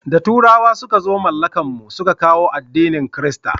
Da turawa suka zo mallakan mu su ka kawo addinin kirista